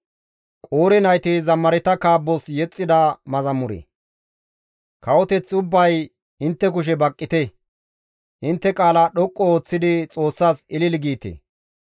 Kawoteth ubbay intte kushe baqqite; intte qaala dhoqqu ooththidi Xoossas ilili giite.